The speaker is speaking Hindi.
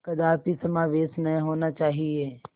कदापि समावेश न होना चाहिए